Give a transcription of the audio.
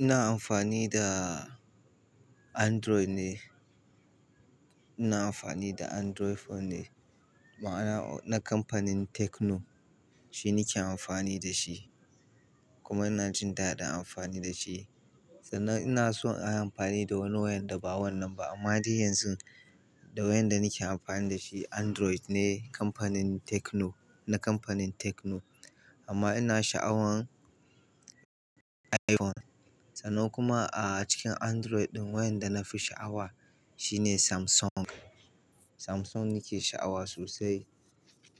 Ina amfani da Android ne. Ina amfani da Android phone ne, ma'ana na kamfanin Tecno. Shi nake amfani da shi kuma ina jin daɗin amfani da shi. Sannan ina so in yi amfani da wani wayan da ba wannan ba amma dai yanzu da wayan da nake amfani da shi Android ne kamfanin Tecno, na kamfanin Tecno. Amma ina sha'awan iPhone. Sannan kuma a cikin Android ɗin wayan da na fi sha'awa shine Samsung. Samsung nake sha'awa sosai.